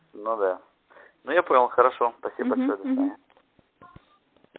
ну да ну я понял хорошо спасибо большое угу до свидания угу